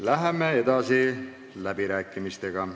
Läheme edasi läbirääkimistega.